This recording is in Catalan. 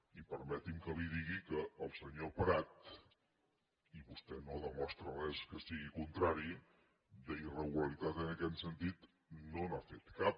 i permeti’m que li digui que el senyor prat i vostè no demostra res que sigui contrari d’irregularitat en aquest sentit no n’ha feta cap